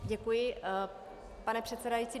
Děkuji, pane předsedající.